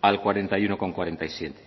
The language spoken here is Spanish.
al cuarenta y uno coma cuarenta y siete